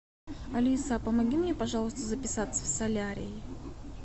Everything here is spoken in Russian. алиса помоги мне пожалуйста записаться в солярий